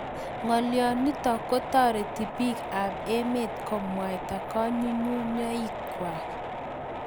ngolyo nitok ko tareti piik ab emet ko mwaita kanguyngunyik kwai